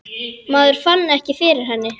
Maður fann ekki fyrir henni.